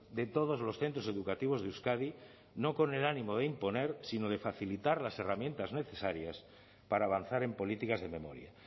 de todos los centros educativos de euskadi no con el ánimo de imponer sino de facilitar las herramientas necesarias para avanzar en políticas de memoria